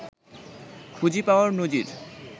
খুঁজে পাওয়ার নজির